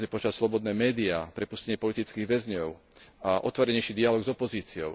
Mali by sme požadovať slobodné média, prepustenie politických väzňov a otvorenejší dialóg s opozíciou.